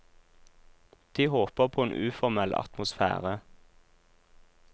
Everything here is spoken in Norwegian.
De håper på en uformell atmosfære.